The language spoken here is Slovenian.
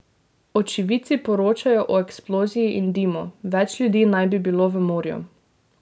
Očividci poročajo o eksploziji in dimu, več ljudi naj bi bilo v morju.